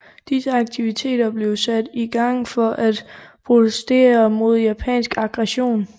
Disse aktiviteter blev sat i gang for at protestere mod japansk aggression